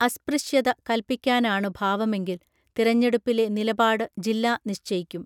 അസ്പൃശ്യത കൽപ്പിക്കാനാണു ഭാവമെങ്കിൽ തിരഞ്ഞെടുപ്പിലെ നിലപാട് ജില്ലാ നിശ്ചയിക്കും